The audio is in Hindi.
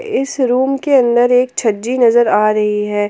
इस रूम के अंदर एक छज्जी नजर आ रही है।